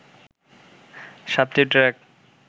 সাতটি ট্রাক